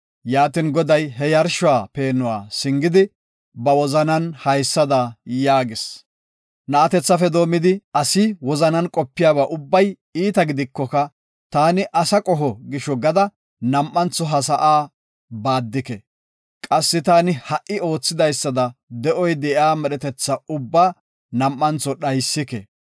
Yaatin, Goday he yarshuwa peenuwa singidi, ba wozanan haysada yaagis; “Na7atethafe doomidi asi wozanan qopiyaba ubbay iita gidikoka taani asa qoho gisho gada nam7antho ha sa7aa baaddike. Qassi taani ha7i oothidaysada de7oy de7iya medhetetha ubbaa nam7antho dhaysike.